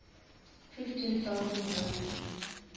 fifteen thousand runs